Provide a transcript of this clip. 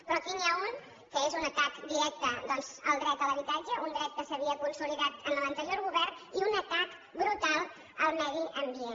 però aquí n’hi ha un que és un atac directe doncs al dret a l’habitatge un dret que s’havia consolidat en l’anterior govern i un atac brutal al medi ambient